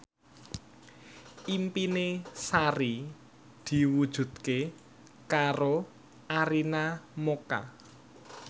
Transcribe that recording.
impine Sari diwujudke karo Arina Mocca